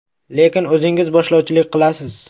Lekin o‘zingiz boshlovchilik qilasiz.